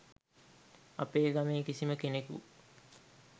අපේ ගමේ කිසිම කෙනෙකු